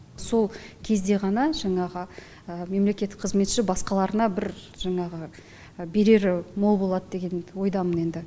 сол кезде ғана жаңағы мемлекеттік қызметші басқаларына бір жаңағы берері мол болады деген ойдамын енді